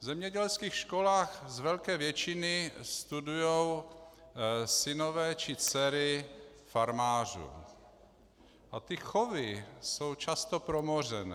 V zemědělských školách z velké většiny studují synové či dcery farmářů a ty chovy jsou často promořené.